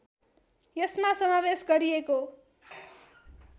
यसमा समावेश गरिएको